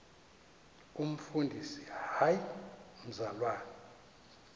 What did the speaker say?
umfundisi hayi mzalwana